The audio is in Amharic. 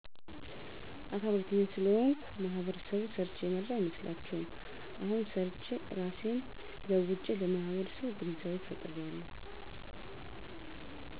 አካል ጉዳተኛ ስለሆንኩ ማህበረሰቡ ሰርቸ የማድር አይመስላቸዉም አሁን ሰርቸ እራሴን ለዉጨለማህበረሰቡ ግንዛቤ ፈጥራለሁ